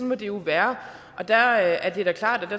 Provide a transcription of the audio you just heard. må det jo være der er det da klart